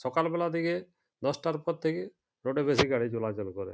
সকাল বেলা থেকে দশটার পর থেকে টোটো বেশি গাড়ী চলাচল করে।